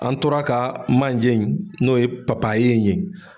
An tora ka manje in n'o ye papaye in ye